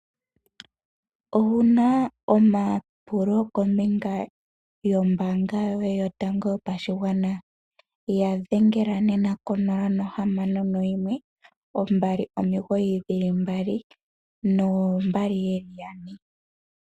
Owuna omapulo kombinga yombanga yoye yotango yopashigwana? Ya dhengele nena ko nola nohamano noyimwe, ombali omiigoyi dhili mbali noombali yeli yane.